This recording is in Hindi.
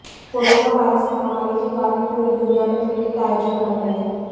कोरोना वायरस महामारी के कारण पूरी दुनिया में क्रिकेट आयोजन बंद है